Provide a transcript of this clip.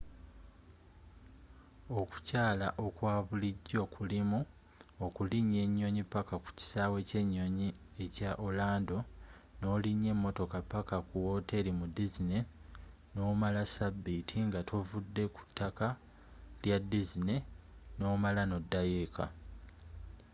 okukyala okwabulijjo kulimu okulinya enyonyi paka ku kisaawe ky'enyonyi ekya orlando n'olinya emotoka paka ku woteeri mu disney noomala sabbiiti nga tovudde ku ttaka lya disney n'omala n'oddayo eeka